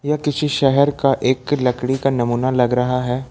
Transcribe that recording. यह किसी शहर का एक लकड़ी का नमूना लग रहा है।